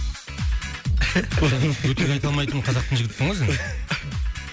өтірік айта алмайтын қазақтың жігітісің ғой сен